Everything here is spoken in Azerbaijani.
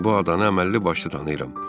Bu adanı əməlli başlı tanıyıram.